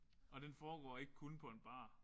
Og den foregår ikke kun på en bar